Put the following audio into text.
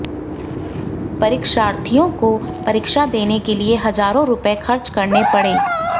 परीक्षार्थियों को परीक्षा देने के लिए हजारों रुपए खर्च करने पड़े